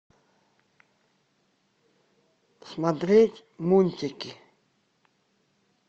смотреть мультики